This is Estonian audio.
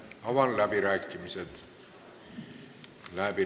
Avan läbirääkimised.